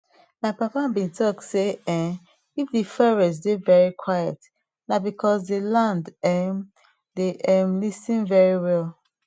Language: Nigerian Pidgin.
my papa been talk say um if de forest dey very quiet na because de land um dey um lis ten very well